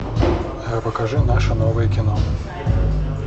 покажи наше новое кино